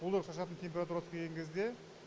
уылдырық шашатын температурасы келген кезде